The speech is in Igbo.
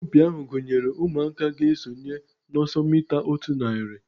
Asọmpi ahu gụnyere ụmụaka ga-esonye na ọsọ mita otu narị